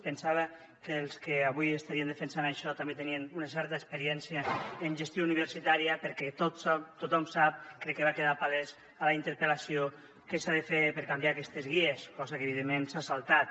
pensava que els que avui estarien defensant això també tenien una certa experiència en gestió universitària perquè tothom sap crec que va quedar palès a la interpel·lació què s’ha de fer per canviar aquestes guies cosa que evidentment s’ha saltat